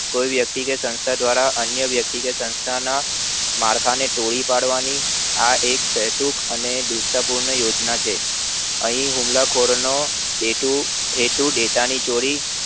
કોઈ વ્યક્તિ કે સંસ્થા દ્વારા કે અન્ય વયક્તિગત સંસ્થા ના માર્કા ને પૂરી પડવાની આ એક સૈતુકઅને શ્રેષ્ટ પૂર્ણ યોજના છે અહી હુમલા ખોર નો હેતુ data ની ચોરી